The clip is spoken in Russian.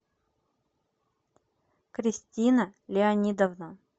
кристина леонидовна